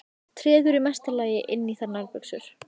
Treður í mesta lagi inn í þær nærbuxum.